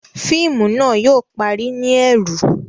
Fíìmù náà yóò parí ni ẹru